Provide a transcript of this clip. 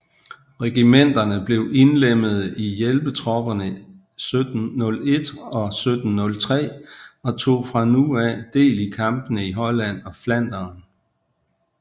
Regimenterne blev indlemmede i hjælpetropperne 1701 og 1703 og tog fra nu af del i kampene i Holland og Flandern